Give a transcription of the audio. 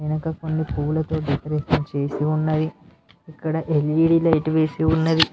ఇంకా కొన్ని పూలతో డెకరేషన్ చేసి ఉన్నది ఇక్కడ ఎల్_ఈ_డి లైట్ వేసి ఉన్నది.